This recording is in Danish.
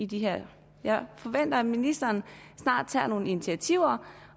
det her jeg forventer at ministeren snart tager nogle initiativer